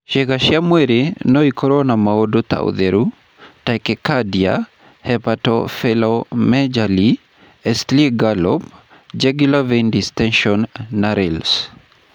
Ciĩga cia mwĩrĩ no ikorũo na maũndũ ta ũtheru, tachycardia, hepatosplenomegaly, S3 gallop, jugular vein distension, na rales.